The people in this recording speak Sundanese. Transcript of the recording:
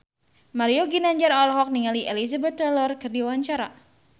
Mario Ginanjar olohok ningali Elizabeth Taylor keur diwawancara